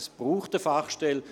Es braucht eine Fachstelle.